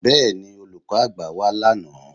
Bẹ́ẹ̀ni, Olùkọ́ àgbà wá lánàá